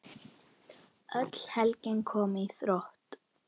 Öll helgin komin í þrot.